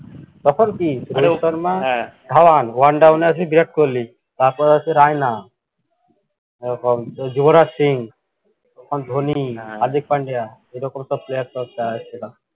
তখন কী Rohit Sharma Dhawan one down এ আছে ভিরাট কোহলি তারপর আছে রায়না এরকম যুবরাজ সিং এখন ধনি হারদিক পান্ডিয়া এরকম সব player সব ছিল।